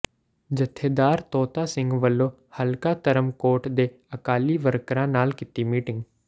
ਜਥੇਦਾਰ ਤੋਤਾ ਸਿੰਘ ਵੱਲੋਂ ਹਲਕਾ ਧਰਮਕੋਟ ਦੇ ਅਕਾਲੀ ਵਰਕਰਾਂ ਨਾਲ ਕੀਤੀ ਮੀਟਿੰਗ